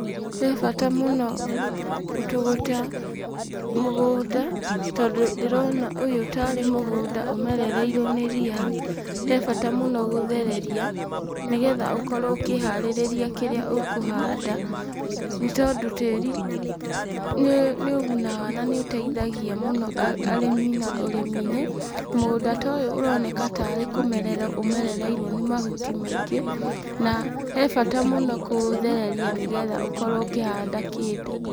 He bata mũno gũtũgũta mũgũnda, tondũ ndĩrona ũyũ tarĩ mũgũnda ũmerereirwo nĩ ria, he bata mũno gũthereria, nĩgetha ũkorwo ũkĩharĩrĩria kĩrĩa ũkũhanda, nĩ tondũ tĩri nĩ ũgunaga na nĩ ũteithagia mũno arĩmi na ũrĩmi-inĩ. Mũgũnda ta ũyũ ũroneka tarĩ kũmererwo ũmerereirwo nĩ mahuti maingĩ, na he bata mũno kũũthereria nĩgetha ũkorwo ũkĩhanda kĩndũ.